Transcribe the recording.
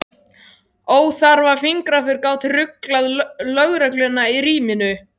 Óþarfa fingraför gátu ruglað lögregluna í ríminu.